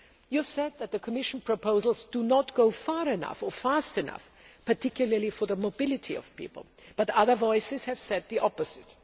You have said that the Commission proposals do not go far enough or fast enough, particularly for the mobility of people, but other voices have said the opposite.